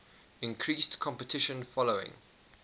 increased competition following